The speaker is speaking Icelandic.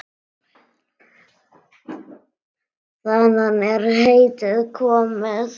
Þaðan er heitið komið.